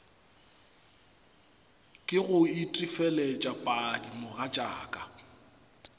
ke go itefelet padi mogatšaka